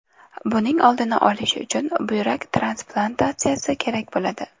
Buning oldini olish uchun buyrak transplantatsiyasi kerak bo‘ladi.